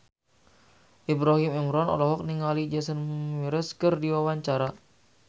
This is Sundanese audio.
Ibrahim Imran olohok ningali Jason Mraz keur diwawancara